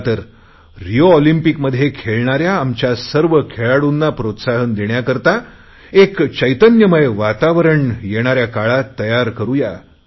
चला तर रिओ ऑलिम्पिकमध्ये खेळणाऱ्या आमच्या सर्व खेळाडूंना प्रोत्साहन देण्याकरता एक चैतन्यमय वातावरण येणाऱ्या काळात तयार करुया